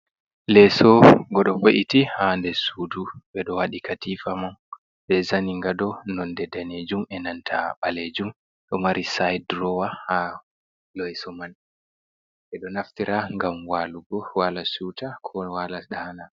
Leso go do ve’iti ha nder sudu. Be do wadi katifa man be zaningado nonde danejum e nantaa balejum. Ɗo mari sait durowa ha lesoman. Be do naftira ngam walugo waala siu'uta ko wala ɗaana.